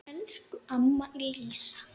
Elsku amma Lísa.